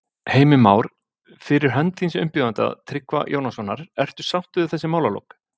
Heimir Már: Fyrir hönd þíns umbjóðanda, Tryggva Jónssonar, ertu sáttur við þessi málalok?